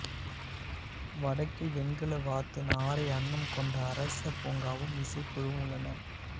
வடக்கில் வெண்கல வாத்து நாரை அன்னம் கொண்ட அரச பூங்காவும் இசைக்குழுவும் உள்ளன